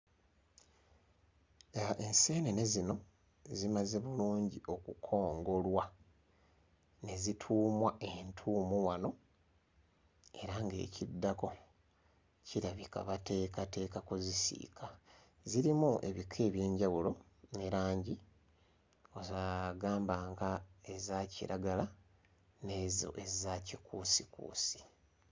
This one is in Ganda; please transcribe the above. Ah enseenene zino zimaze bulungi okukongolwa ne zituumwa entuumu wano era ng'ekiddako kirabika bateekateeka kuzisiika zirimu ebika eby'enjawulo ne langi za gamba nga eza kiragala n'ezo eza kikuusikuusi.